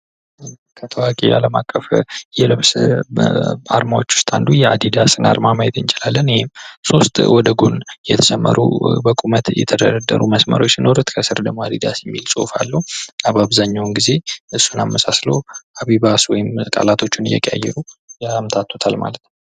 ከታዋቂ አለም አቀፍ የልብስ አርማዎች መካከል አንዱ አዲዳስ አርማ ማየት እንችላለን ይህም ሶስት ወደጎን የተሰመሩ በቁም በተደረደሩ መስመሮች ሲኖሩ ከስር ደግሞ ጽሁፍ አለው አንዳንዴ የእሁፍ በመቀየር አቢባስ ምናምን እያሉ ያምታቱታል።